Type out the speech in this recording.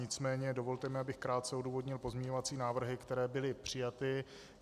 Nicméně dovolte mi, abych krátce odůvodnil pozměňovací návrhy, které byly přijaty.